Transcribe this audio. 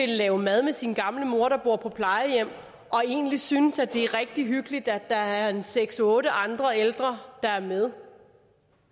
lave mad med sin gamle mor der bor på plejehjem og egentlig synes at det er rigtig hyggeligt at der er en seks otte andre ældre der er med